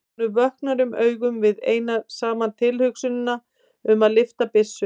Honum vöknar um augu við eina saman tilhugsunina um að lyfta byssu.